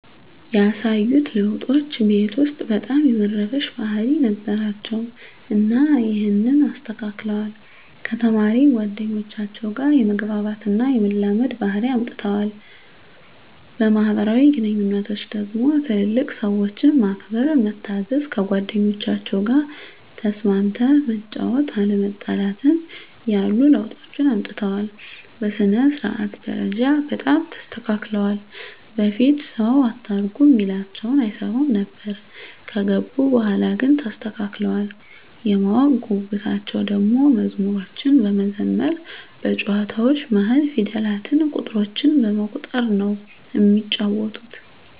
ያሳዩት ለዉጦች ቤት ዉስጥ በጣም የመረበሽ ባህሪ ነበራቸዉ እና ይሀንን አስተካክለዋል፣ ከተማሪ ጓደኞቻቸዉ ጋ የመግባባት እና የመላመድ ባህሪ አምጠዋል። በማህበራዊ ግንኙነቶች ደግሞ ትልልቅ ሰዎችን ማክበር፣ መታዘዝ፣ ከጓደኞቻቸዉ ጋ ተስማምተህ መጫወት፣ አለመጣላትን ያሉ ለዉጦችን አምጥተዋል። በሥነ-ስርዓት ደረጃ በጣም ተስተካክለዋል በፊት ሰዉ አታርጉ እሚላቸዉን አይሰሙም ነበር ከገቡ በኋላ ግን ተስተካክለዋል። የማወቅ ጉጉታቸዉ ደሞ መዝሙሮችን በመዘመር በጨዋታዎች መሀል ፊደላትን፣ ቁጥሮችን በመቁጠር ነዉ እሚጫወቱት።